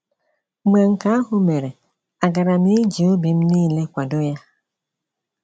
Mgbe nke ahụ mere, àgaara m iji obi m nile kwado ya?